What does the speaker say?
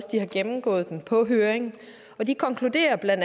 de har gennemgået den på høringen de konkluderer bla